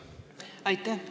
Aitäh!